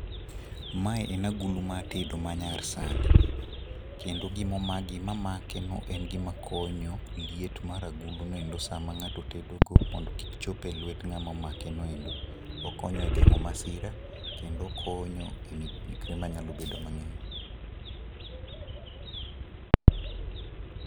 Mae en agulu mar tedo mayar sani kendo gima make no en gima konyo liet mar agulu no sama ngato tedo go mondo kik chop e lwet ngama omake noendo. Okonyo e gengo masira kendo okonyo e midekre manya bedo mangeny